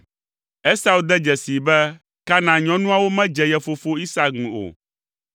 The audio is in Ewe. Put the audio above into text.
Esau de dzesii be Kanaan nyɔnuawo medze ye fofo Isak ŋu o.